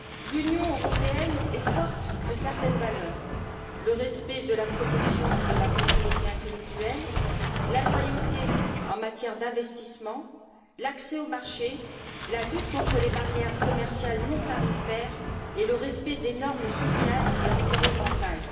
L'Union européenne est forte de certaines valeurs le respect de la protection de la propriété intellectuelle, la loyauté en matière d'investissements, l'accès aux marchés, la lutte contre les barrières commerciales non tarifaires et le respect des normes sociales et environnementales.